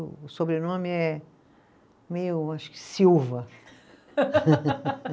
O o sobrenome é meio, acho que Silva.